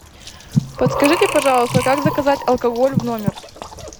подскажите пожалуйста как заказать алкоголь в номер